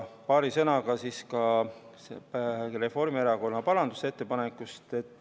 Paari sõnaga ka Reformierakonna parandusettepanekust.